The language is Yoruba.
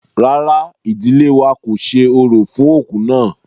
Rárá, ìdílé wa kò ṣe orò fún òkú náà.